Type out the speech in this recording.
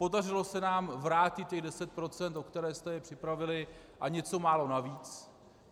Podařilo se nám vrátit těch 10 %, o které jste je připravili, a něco málo navíc.